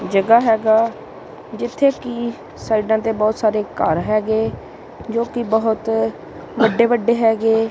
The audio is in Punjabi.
ਜਗਾਹ ਹੈਗਾ ਜਿੱਥੇ ਕਿ ਸਾਈਡਾਂ ਤੇ ਬੋਹੁਤ ਸਾਰੇ ਘਰ ਹੈਗੇ ਜੋਕਿ ਬੋਹੁਤ ਵੱਡੇ ਵੱਡੇ ਹੈਗੇ।